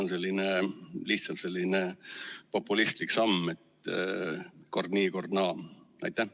Kas see on lihtsalt selline populistlik samm, et kord nii, kord naa?